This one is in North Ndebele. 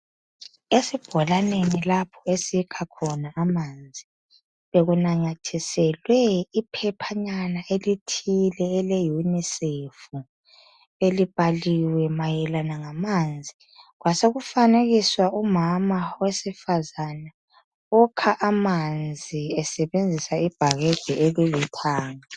Esibholaneni lapho esikha khona amanzi bekunanyathiselwe iphephanyana elithile ele unicef belibhaliwe mayelana ngamanzi kwasekufanekiswa umama owesifazana okha amanzi esebenzisa ibhakede elilithanga.